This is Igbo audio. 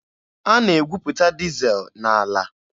A na-egwuputa dizel n'ala.